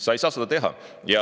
Sa ei saa seda teha.